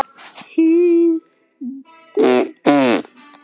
Hinn seki.